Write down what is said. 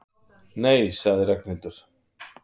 Nei sagði Ragnhildur.